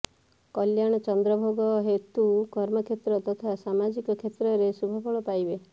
କଲ୍ୟାଣ ଚନ୍ଦ୍ରଭୋଗ ହେତୁ କର୍ମକ୍ଷେତ୍ର ତଥା ସାମାଜିକ କ୍ଷେତ୍ରରେ ଶୁଭଫଳ ପାଇବେ